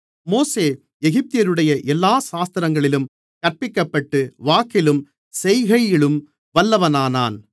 மோசே எகிப்தியருடைய எல்லா சாஸ்திரங்களிலும் கற்பிக்கப்பட்டு வாக்கிலும் செய்கையிலும் வல்லவனானான்